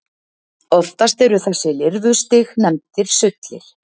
Oftast eru þessi lirfustig nefndir sullir.